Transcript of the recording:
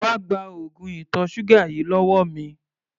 Wá gba oògùn ìtọ̀ ṣúgà yìí lọ́wọ́ mi!